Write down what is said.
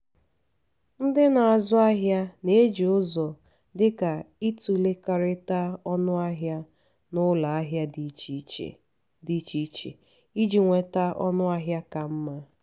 ndị na-azụ ahịa na-eji ụzọ dịka itụlekọrịta ọnụahịa n’ụlọ ahịa dị iche dị iche iche iji nweta ọnụahịa ka mma.